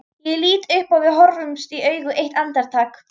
Ég lít upp og við horfumst í augu eitt andartak.